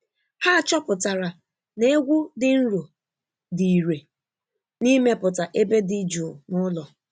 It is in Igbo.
Ha chọpụtara na egwu dị nro dị irè n’imepụta ebe dị jụụ n’ụlọ.